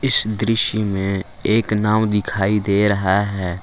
इस दृश्य में एक नाव दिखाई दे रहा है।